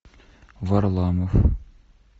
варламов